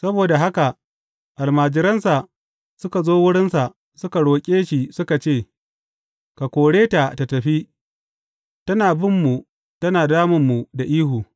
Saboda haka almajiransa suka zo wurinsa suka roƙe shi suka ce, Ka kore ta tă tafi, tana ta binmu tana damunmu da ihu.